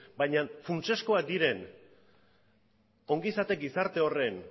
baina funtsezkoak diren ongizate gizarte horren